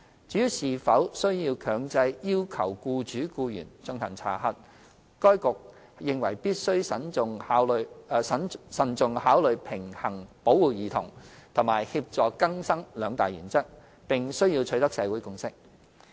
至於是否需要強制要求僱主/僱員進行查核，該局認為必須慎重考慮平衡保護兒童及協助更生兩大原則，並需要取得社會共識。